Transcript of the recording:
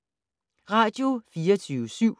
Radio24syv